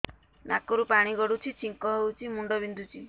ନାକରୁ ପାଣି ଗଡୁଛି ଛିଙ୍କ ହଉଚି ମୁଣ୍ଡ ବିନ୍ଧୁଛି